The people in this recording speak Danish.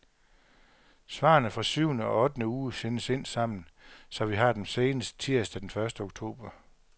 Svarene fra syvende og ottende uge sendes ind sammen, så vi har dem senest tirsdag den første oktober.